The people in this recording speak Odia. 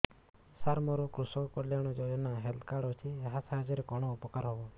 ସାର ମୋର କୃଷକ କଲ୍ୟାଣ ଯୋଜନା ହେଲ୍ଥ କାର୍ଡ ଅଛି ଏହା ସାହାଯ୍ୟ ରେ କଣ ଉପକାର ହବ